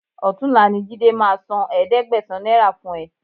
Ọ̀túnla ni Jídé máa san ẹ̀ẹ́dẹ́gbẹ̀sán náírà fún ẹ